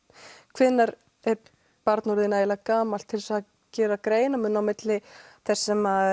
hvenær er barn orðið nógu gamalt til þess að gera greinarmun á milli þess sem